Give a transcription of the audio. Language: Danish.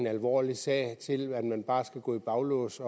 alvorlig en sag til at man bare skal gå i baglås